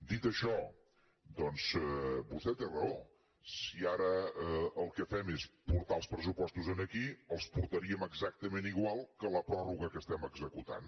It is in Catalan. dit això doncs vostè té raó si ara el que fem és portar els pressupostos aquí els portaríem exactament igual que la pròrroga que estem executant